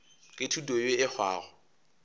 ke thuto yeo e hwago